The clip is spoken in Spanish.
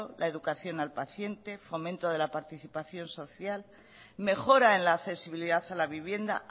la educación al paciente fomento de la participación social mejora en la accesibilidad a la vivienda